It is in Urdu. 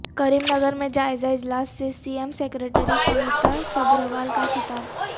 کریم نگر میں جائزہ اجلاس سے C M secretary Smita Sabharwal کا خطاب